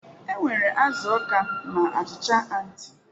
Enwere azu akwa na achịcha onti.